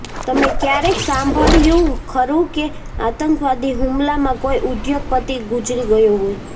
તમે ક્યારેય સાંભળ્યું ખરું કે આતંકવાદી હુમલામાં કોઈ ઉદ્યોગપતિ ગુજરી ગયો હોય